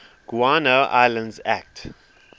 guano islands act